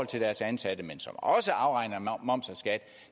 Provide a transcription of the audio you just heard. til deres ansatte men som også afregner moms og skat